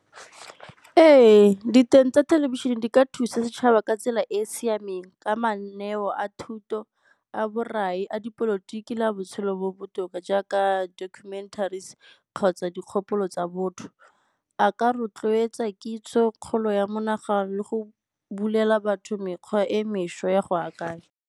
Ee, diteng tsa thelebišene di ka thusa setšhaba ka tsela e e siameng ka mananeo a thuto, a borai, a dipolotiki le a botshelo bo botoka jaaka a documentaries kgotsa dikgopolo tsa botho. A ka rotloetsa kitso, kgolo ya monagano le go bulela batho mekgwa e mešwa ya go akanya.